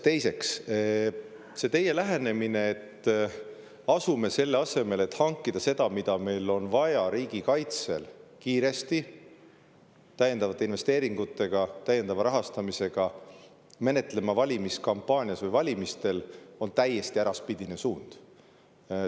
Teiseks, see teie lähenemine, et selle asemel, et hankida kiiresti seda, mida meil riigikaitseks on vaja, täiendavaid investeeringuid, täiendavat rahastamist, me asuksime menetlema seda kõike valimiskampaanias või valimistel, on täiesti äraspidine suund.